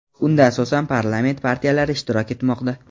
Unda asosan parlament partiyalari ishtirok etmoqda.